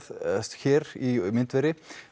hér í myndveri